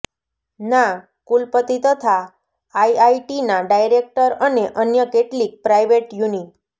ના કુલપતિ તથા આઇઆઇટીના ડાયરેકટર અને અન્ય કેટલીક પ્રાઇવેટ યુનિ